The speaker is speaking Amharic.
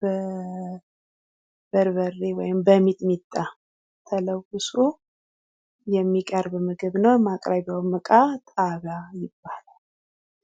ብበርበሬ ወይም በሚጥሚጣ ተለውሶ የሚቀርብ ምግብ ነው ።ማቅረቢያው ዕቃማቅረቢያው ዕቃ ጣጋ ይባላል።